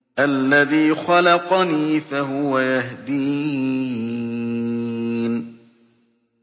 الَّذِي خَلَقَنِي فَهُوَ يَهْدِينِ